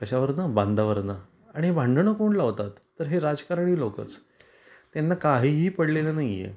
कशावर ना बांधावरन आणि भांडणं कोण लावतात तर हे राजकारणी लोकच त्यांना काहीही पडलेल नाही आहे.